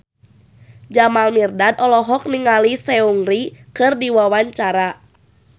Jamal Mirdad olohok ningali Seungri keur diwawancara